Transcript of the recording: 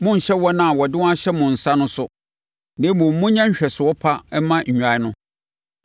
Monnhyɛ wɔn a wɔde wɔn ahyɛ mo nsa no so, na mmom monyɛ nhwɛsoɔ pa mma nnwan no.